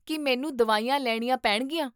ਕੀ ਮੈਨੂੰ ਦਵਾਈਆਂ ਲੈਣੀਆਂ ਪੈਣਗੀਆਂ ?